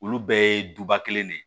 Olu bɛɛ ye duba kelen de ye